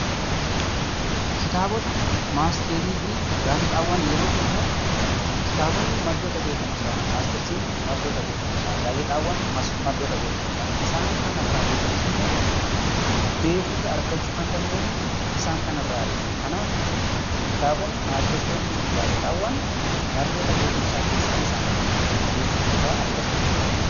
Kitaabota, matseetii fi gaazexaawwan yeroo jennu kitaabonni maddoota beekumsaa, matseetiin maddoota beekumsaa, gaazexaan maddoota beekumsaa. Isaan kanarraa dubbisnee beekumsa argachuu kan dandeenyu isaan kanarraati. Kanaaf kitaabonni, matseetii fi gaazexaawwan maddoota beekumsaati, beekumsa irraa argachuu kan dandeenyu.